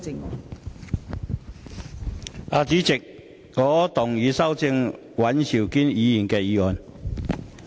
代理主席，我動議修正尹兆堅議員的議案。